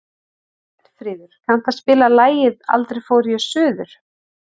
Björnfríður, kanntu að spila lagið „Aldrei fór ég suður“?